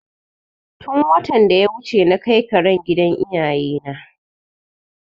Tun watan da ya wuce na kai karen gida iyaye na